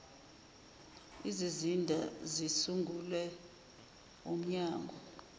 izizinda zisungulwe wumnyango